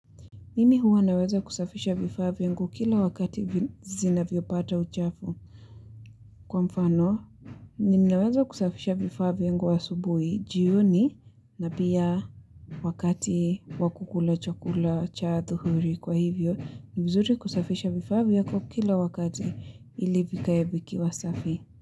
Mimi huwa naweza kusafisha vifaa vyangu kila wakati zinavyopata uchafu. Kwa mfano, ninaweza kusafisha vifaa vyangu asubuhi, jioni, na pia wakati wa kukula chakula cha adhuhuri kwa hivyo, ni vizuri kusafisha vifaa vyako kila wakati ili vikae vikiwa safi.